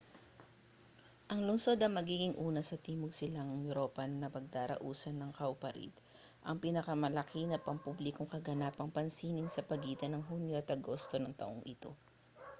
ang lungsod ang magiging una sa timog-silangang europa na pagdarausan ng cowparade ang pinalamalaki na pampublikong kaganapang pansining sa pagitan ng hunyo at agosto ng taong ito